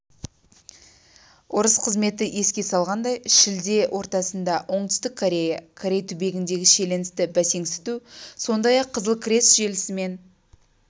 орыс қызметі еске салғандай шілде ортасында оңтүстік корея корей түбегіндегі шиеленісті бәсеңсіту сондай-ақ қызыл крест желісімен